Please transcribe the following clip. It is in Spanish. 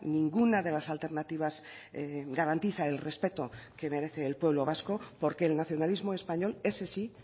ninguna de las alternativas garantiza el respeto que merece el pueblo vasco porque el nacionalismo español ese sí